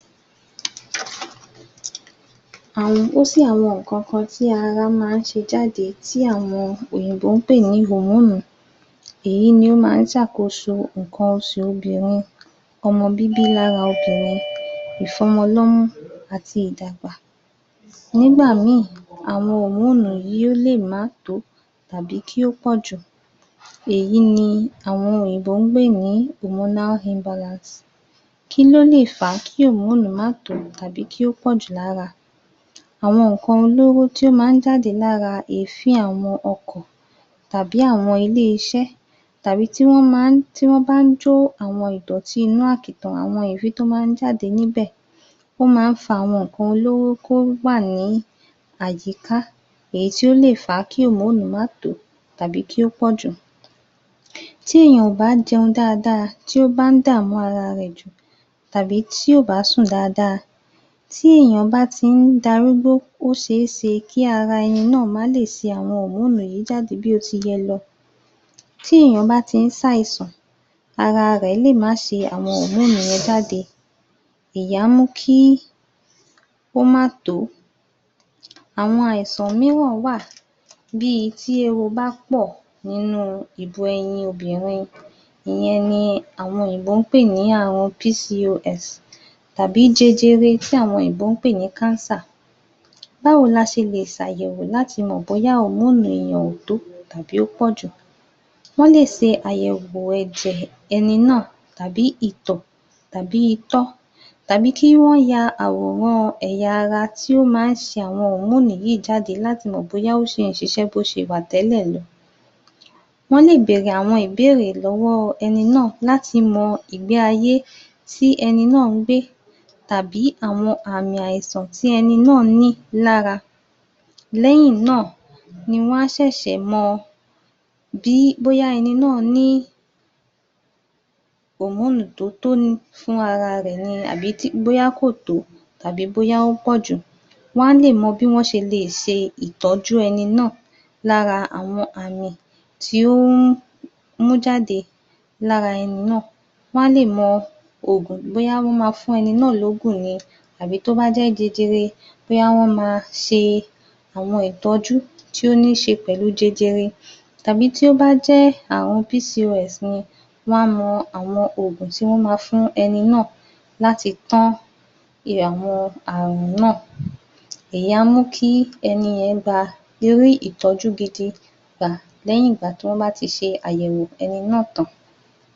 Àwọn ǹ kankan tí ara máa ń ṣe jáde tí àwọn òyìnbó ń pè ní [Hormone]. Èyí ni ó ma ń ṣàkóso nǹkan oṣù obìnrin, ọmọ bíbí lára ọkùnrin, ìfọ́mọ lọ́mú àti ìdàgbà. Nígbà míì, àwọn [hormone] yìí ó lè má tò ó tàbí kí ó pọ̀ jù. Èyí ni àwọn òyìnbó ń pè ní [hormonal imbalance]. Kí ló lè fà á kí [hormone] má tò ó tàbí kí ó pọ̀ jù lára? Àwọn nnkan olóró tí ó má ń jáde lára èéfín àwọn ọkọ̀, tàbí àwọn ilé-iṣẹ́, tàbí tí wọ́n bá ń jó àwọn ìdọ̀tí inú àkìtàn, àwọn èéfín tí ó má ń jáde níbẹ̀, wọ́n má ń fa àwọn nnkan olóró kó wà ní àyíká, èyí tí ó lè fà á kí [hormone] má tò ó, tàbí kí ó pọ̀ jù. Tí èèyàn ò bá jẹun dáadáa, tí ó bá ń dààmú ara rẹ̀ jù, tàbí tí ò bá sùn dáadáa, tí èèyàn bá ti ń darúgbó, ó ṣe é ṣe kí ara ẹni náà má lè ṣe àwọn [hormone] yìí jáde bí ó ti yẹ lọ. Tí èèyàn bá ti ń ṣe àìsàn, ara rẹ̀ lè má ṣe àwọn [hormone] yẹn jáde. Èyí á mú kí ó má tò ó. Àwọn àìsàn mìíràn wà bí i tí éwo bá pọ̀ nínú ìbu ẹyin obìnrin, ìyẹn ni àwọn òyìnbó ń pè ní àrùn [PCOS], tàbí jẹjẹrẹ tí àwọn òyìnbó ń pè ní [cancer]. Báwo la ṣe lè ṣàyẹ̀wò láti mọ̀ bóyá [hormone] èèyàn ò tó, tàbí ó pọ̀ jù? Wọ́n lè ṣe àyẹ̀wò ẹ̀jẹ̀ ẹni náà, tàbí ìtọ̀, tàbí itọ́, tàbí kí wọ́n ya àwòrán ẹ̀yà ara tí ó má ń ṣe àwọn [hormone] yìí jáde láti mọ̀ bóyá ó sì ń si ṣé bó ṣe wà tẹ́lẹ̀ lọ. Wọ́n lè bèrè àwọn ìbéèrè lọ́wọ́ ẹni náà láti mọ ìgbé ayé tí ẹni náà ń gbé, tàbí àwọn àmì àìsàn tí ẹni náà ń ní lára. Lẹ́yìn náà, ní wọn á ṣẹ̀ṣẹ̀ mọ bóyá ẹni náà ní [hormone] tó tó fún ara rẹ̀ ní bóyá kò tó, tàbí ó pọ̀ jù. Wọn á lè mọ bí wọ́n ṣe lè ṣe ìtọ́jú ẹni náà lára àwọn àmì tí ó ń mú jáde lára ẹni náà. Wọn á lè mọ ògùn bóyá wọ́n ma fún ẹni náà lógùn ni, àbí tó bá jẹ́ jẹjẹrẹ, bóyá wọ́n má ṣe àwọn ìtọ́jú tí ó ní ṣe pẹ̀lú jẹjẹrẹ. Tàbí tí ó bá jẹ́ àrùn [PCOS] ni, wọn á mọ àwọn ògùn tí wọ́n ma fún ẹni náà láti tán àwọn àrùn náà. Èyí á mú kí ẹni yẹn rí ìtọ́jú gidi gba lẹ́yìn ìgbà tí wọ́n bá ti ṣe àyẹ̀wò ẹni náà tàn án.